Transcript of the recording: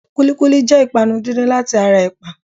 Kúlíkúlí jẹ́ ìpanu díndín láti ara ẹ̀pà.